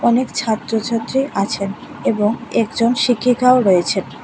অনেক ছাত্র ছাত্রী আছেন এবং একজন শিক্ষিকাও রয়েছে।